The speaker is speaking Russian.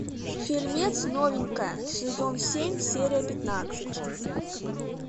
фильмец новенькая сезон семь серия пятнадцать